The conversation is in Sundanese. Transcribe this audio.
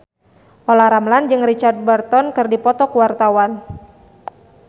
Olla Ramlan jeung Richard Burton keur dipoto ku wartawan